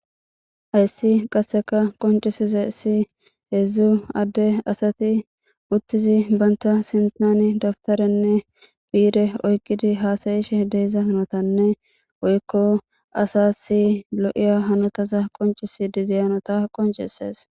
ayssi qasseka qoncisize si heedzdzu adde asati uttizi banta sintani dabtarenne piire oyqidi haasayishe deeza hanotanne woykko asa si lo7iya hanotaza qoncis dideyanota qoncisees